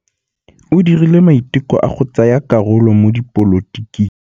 O dirile maitekô a go tsaya karolo mo dipolotiking.